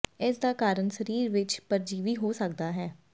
ਇਸ ਦਾ ਕਾਰਨ ਸਰੀਰ ਵਿੱਚ ਪਰਜੀਵੀ ਹੋ ਸਕਦਾ ਹੈ